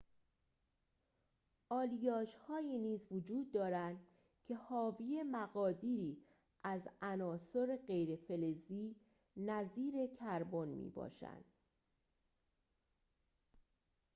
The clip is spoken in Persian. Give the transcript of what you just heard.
آلیاژهایی نیز وجود دارند که حاوی مقادیری از عناصر غیر‌فلزی نظیر کربن می‌باشند